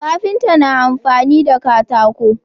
Kafinta na amfani da katako